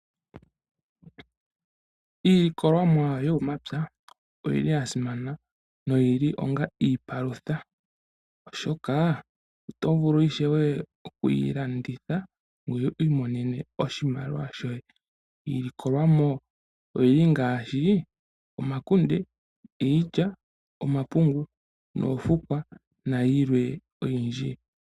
Iilikolomwa yo momapya oyili ya simana noyi li onga iipalutha, oshoka oto vulu ishewe okuyi landitha wu imonene oshimaliwa shoye. Iilikolwamo oyili ngaashi; omakunde, iilya, omapungu noofukwa nayilwe oyindji.